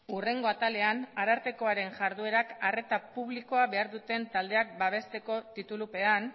hurrengo atalean arartekoaren jarduerak arreta publikoa behar duten taldeak babesteko titulupean